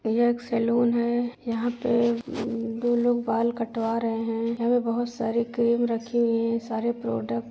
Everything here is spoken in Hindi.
यह एक सेलून है। यहां पे दो लोग बाल कटवा रहे हैं। यहाँ पे बोहत सारे क्रीम रखीं हुईं हैं। सारे प्रोडक्ट --